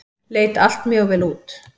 Leit allt mjög vel út.